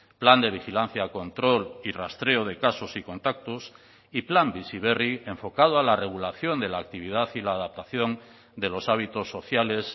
plan de vigilancia control y rastreo de casos y contactos y plan bizi berri enfocado a la regulación de la actividad y la adaptación de los hábitos sociales